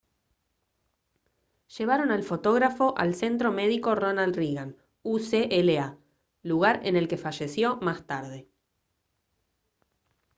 llevaron al fotógrafo al centro médico ronald reagan ucla lugar en el que falleció más tarde